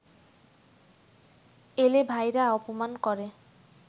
এলে ভাইরা অপমান করে